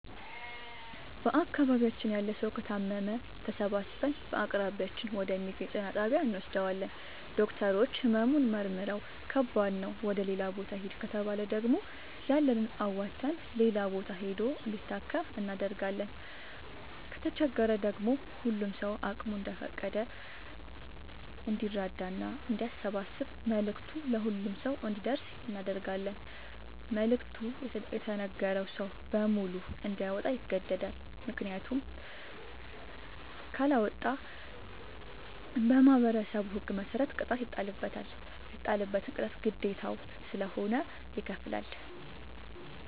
በአካባቢያችን ያለ ሠዉ ከታመመ ተሠባስበን በአቅራቢያችን ወደ ሚገኝ ጤና ጣቢያ እንወስደዋለን። ዶክተሮች መርምረዉ ህመሙ ከባድ ነዉ ወደ ሌላ ቦታ ይህድ ከተባለ ደግሞ ያለንን አዋተን ሌላ ቦታ ሂዶ እንዲታከም እናደርጋለን። ከተቸገረ ደግሞ ሁሉም ሰዉ አቅሙ እንደፈቀደ እንዲራዳና አንዲያሰባስብ መልዕክቱ ለሁሉም ሰው አንዲደርሰው እናደርጋለን። መልዕክቱ የተነገረዉ ሰዉ በሙሉ እንዲያወጣ ይገደዳል። ምክንያቱም ካለወጣ በማህበረሠቡ ህግ መሰረት ቅጣት ይጣልበታል። የተጣለበትን ቅጣት ግዴታዉ ስለሆነ ይከፍላል።